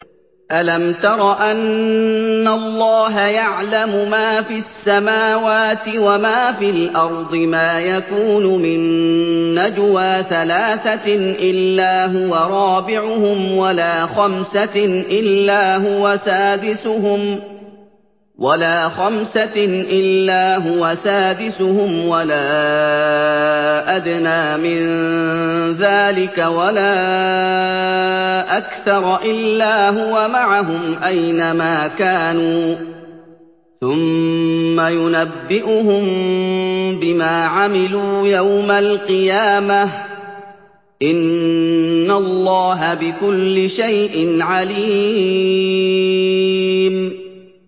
أَلَمْ تَرَ أَنَّ اللَّهَ يَعْلَمُ مَا فِي السَّمَاوَاتِ وَمَا فِي الْأَرْضِ ۖ مَا يَكُونُ مِن نَّجْوَىٰ ثَلَاثَةٍ إِلَّا هُوَ رَابِعُهُمْ وَلَا خَمْسَةٍ إِلَّا هُوَ سَادِسُهُمْ وَلَا أَدْنَىٰ مِن ذَٰلِكَ وَلَا أَكْثَرَ إِلَّا هُوَ مَعَهُمْ أَيْنَ مَا كَانُوا ۖ ثُمَّ يُنَبِّئُهُم بِمَا عَمِلُوا يَوْمَ الْقِيَامَةِ ۚ إِنَّ اللَّهَ بِكُلِّ شَيْءٍ عَلِيمٌ